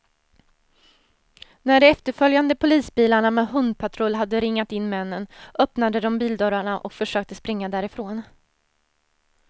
När de efterföljande polisbilarna med hundpatrull hade ringat in männen, öppnade de bildörrarna och försökte springa därifrån.